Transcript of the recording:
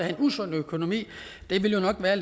en usund økonomi ville det nok være